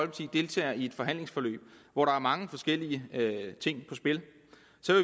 deltager i et forhandlingsforløb hvor der er mange forskellige ting i spil